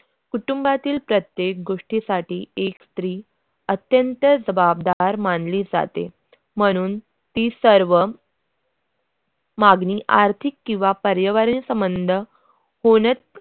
कुटुंबातील प्रत्येक गोष्टीसाठी एक स्त्री अत्यंत जबाबदार मानली जाते म्हणून ती सर्व मागणी आर्थिक किंवा परिवारीक संबंध बोलत